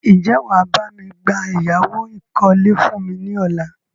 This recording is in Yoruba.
Ń jẹ́ wàá bami gba ẹ̀yáwó ìkọ́lé fún mi ní ọ̀la?